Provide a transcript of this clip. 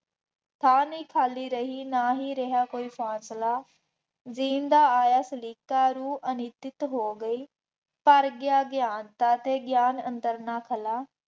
ਥਾਂ ਨਹੀਂ ਖਾਲੀ ਰਹੀ ਨਾ ਹੀ ਰਿਹਾ ਕੋਈ ਫਾਸਲਾ, ਜੀਣ ਦਾ ਆਇਆਂ ਸਲੀਕਾ, ਰੂਹ ਅਨਿਤਤ ਹੋ ਗਈ, ਭਰ ਗਿਆ ਗਿਆਂਨ, ਦਾਤੇ ਗਿਆਨ ਅੰਦਰ ਨਾ ਫੈਲਾਅ